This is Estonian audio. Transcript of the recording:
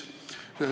Aitäh!